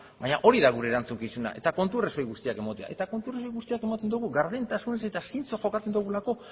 baina hori da gure erantzukizuna eta kontu arrazoi guztiak ematea eta kontu arrazoi guztiak ematen dugu gardentasunez eta zintxo jokatzen dugulako